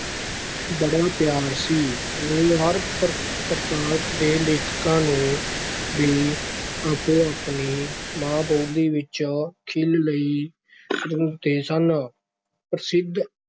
ਬੜਾ ਪਿਆਰ ਸੀ, ਉਹ ਹਰ ਪਰ ਪ੍ਰਾਂਤ ਦੇ ਲੇਖਕਾਂ ਨੂੰ ਵੀ ਆਪੋ-ਆਪਣੀ ਮਾਂ ਬੋਲੀ ਵਿਚ ਖਿੱਲ ਲਈ ਪ੍ਰੇਰਦੇ ਸਨ, ਪ੍ਰਸਿੱਧ